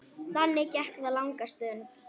Þannig gekk það langa stund.